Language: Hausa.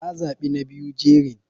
Na za bi na biyu jerin.